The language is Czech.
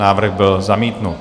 Návrh byl zamítnut.